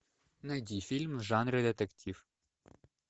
найди фильм в жанре детектив